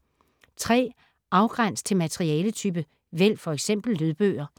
Afgræns til materialetype: vælg f.eks. lydbøger